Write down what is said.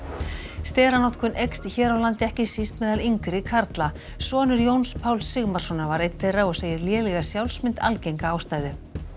steranotkun eykst hér á landi ekki síst meðal yngri karla sonur Jóns Páls Sigmarssonar var einn þeirra og segir lélega sjálfsmynd algenga ástæðu